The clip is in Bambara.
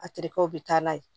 A terikɛw bɛ taa n'a ye